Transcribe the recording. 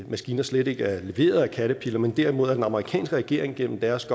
maskiner slet ikke er leveret af caterpillar men derimod af den amerikanske regering gennem deres